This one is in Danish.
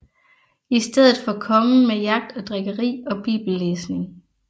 I stedet kongen med jagt og drikkeri og bibellæsning